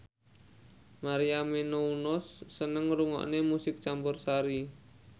Maria Menounos seneng ngrungokne musik campursari